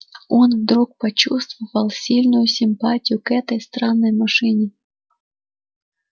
он вдруг почувствовал сильную симпатию к этой странной машине